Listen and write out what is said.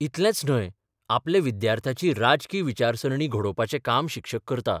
इतलेंच न्हय, आपल्या विद्यार्थ्याची राजकी विचारसरणी घडोवपाचें काम शिक्षक करता.